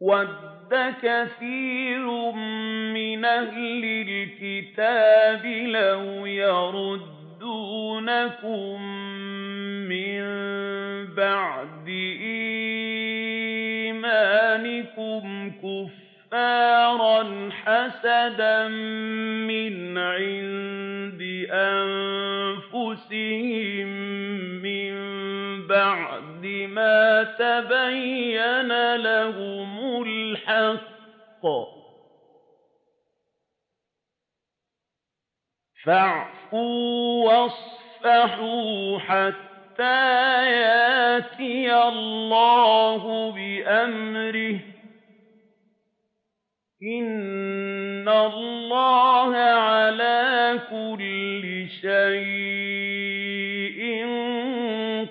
وَدَّ كَثِيرٌ مِّنْ أَهْلِ الْكِتَابِ لَوْ يَرُدُّونَكُم مِّن بَعْدِ إِيمَانِكُمْ كُفَّارًا حَسَدًا مِّنْ عِندِ أَنفُسِهِم مِّن بَعْدِ مَا تَبَيَّنَ لَهُمُ الْحَقُّ ۖ فَاعْفُوا وَاصْفَحُوا حَتَّىٰ يَأْتِيَ اللَّهُ بِأَمْرِهِ ۗ إِنَّ اللَّهَ عَلَىٰ كُلِّ شَيْءٍ